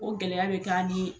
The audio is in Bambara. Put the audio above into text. O gɛlɛya bɛ k'an ni